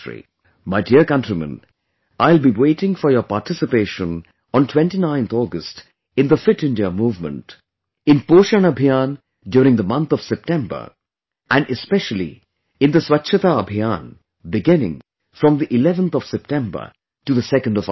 My dear countrymen, I will be waiting for your participation on 29th August in 'Fit India Movement', in 'Poshan Abhiyaan' during the month of September and especially in the 'Swachhata Abhiyan' beginning from the 11th of September to the 2nd of October